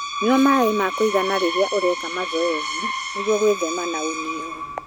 Nyua maĩ ma kũigana rĩrĩa ũraeka mazoezi nĩguo gwĩthema ũnyihu.